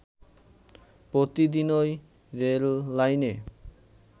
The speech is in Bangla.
প্রতিদিন’ই রেললাইনে